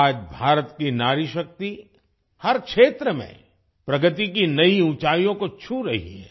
आज भारत की नारीशक्ति हर क्षेत्र में प्रगति की नई ऊँचाइयों को छू रही है